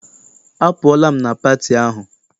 Apụọla m na pati ahụ.